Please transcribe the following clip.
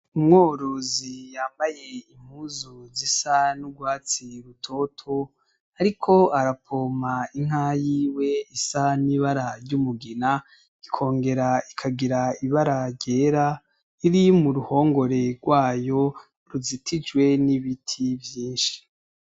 Umworozi yambaye impuzu zisa n'urwatsi rutoto ariko arapompa inka yiwe isa n'ibara ry'umugina ikongera ikagira ibara ryera iri mu ruhongore rwayo ruzitijwe n'ibiti vyinshi.